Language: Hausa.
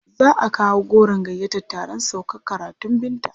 Za a kawo goron gayyatar taron saukar karatun Binta.